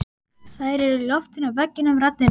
Þær eru í loftinu og veggjunum raddirnar.